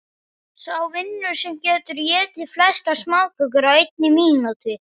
Sá vinnur sem getur étið flestar smákökur á einni mínútu.